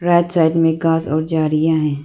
Right side में घास और जरियां है।